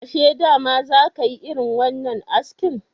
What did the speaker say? Ashe dama za ka yi irin wannan askin?